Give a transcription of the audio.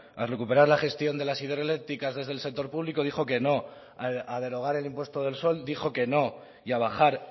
a recuperar la gestión de las hidroeléctricas desde el sector público dijo que no a derogar el impuesto del sol dijo que no y a bajar